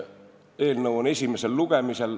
Eelnõu on esimesel lugemisel.